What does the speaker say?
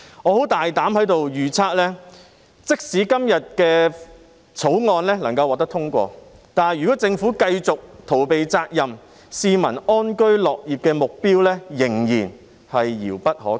我在此大膽預測，即使今天這項《條例草案》獲得通過，但如果政府繼續逃避責任，市民安居樂業的目標仍然是遙不可及。